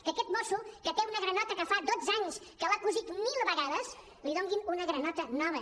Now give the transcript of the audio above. que a aquest mosso que té una granota que fa dotze anys que l’ha cosit mil vegades li donin una granota nova